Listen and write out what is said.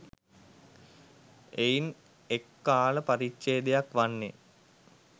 එයින් එක් කාල පරිච්ඡේදයක් වන්නේ